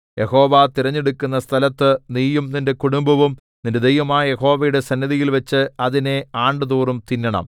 യഹോവ തിരഞ്ഞെടുക്കുന്ന സ്ഥലത്ത് നീയും നിന്റെ കുടുംബവും നിന്റെ ദൈവമായ യഹോവയുടെ സന്നിധിയിൽവെച്ച് അതിനെ ആണ്ടുതോറും തിന്നണം